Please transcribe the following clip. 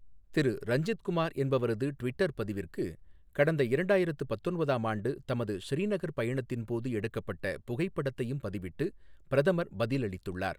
திரு ரஞ்சித் குமார் என்பவரது ட்விட்டர் பதிவிற்கு, கடந்த இரண்டாயிரத்து பத்தொன்பதாம் ஆண்டு தமது ஸ்ரீநகர் பயணத்தின் போது எடுக்கப்பட்ட புகைப்படத்தையும் பதிவிட்டு பிரதமர் பதிலளித்துள்ளார்.